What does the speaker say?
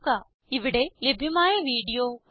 ഇവിടെ ലഭ്യമായ വീഡിയോ കാണുക